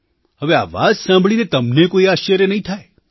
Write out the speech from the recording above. હવે આ વાત સાંભળીને તમને કોઈ આશ્ચર્ય નહીં થાય